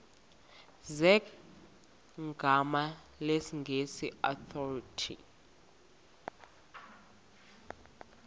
zegama lesngesn authorit